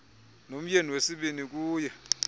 nomyeni wesibini kuye